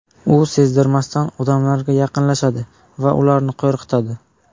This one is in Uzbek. U sezdirmasdan odamlarga yaqinlashadi va ularni qo‘rqitadi.